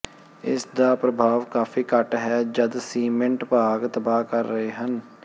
ਇਸ ਦਾ ਪ੍ਰਭਾਵ ਕਾਫ਼ੀ ਘੱਟ ਹੈ ਜਦ ਸੀਮਿੰਟ ਭਾਗ ਤਬਾਹ ਕਰ ਰਹੇ ਹਨ ਹੈ